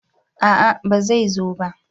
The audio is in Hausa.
a'a ba zai zo ba